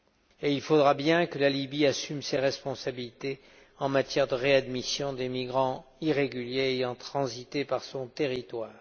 Et il faudra bien que la Libye assume ses responsabilités en matière de réadmission des migrants irréguliers ayant transité par son territoire.